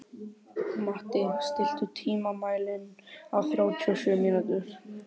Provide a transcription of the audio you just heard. Matti, stilltu tímamælinn á þrjátíu og sjö mínútur.